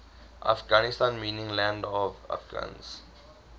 afghanistan meaning land of the afghans